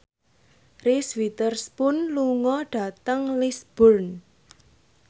Reese Witherspoon lunga dhateng Lisburn